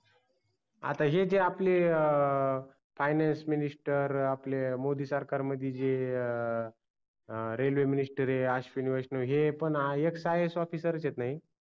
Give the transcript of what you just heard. आता हे जे आपले finance minister आपले मोदी सरकार मध्ये जे railway minister अश्विनी वैष्णव हे पण extraiasofficer च आहेत न हे